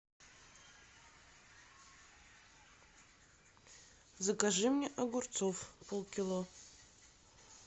закажи мне огурцов полкило